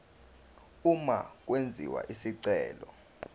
uma kwenziwa isicelo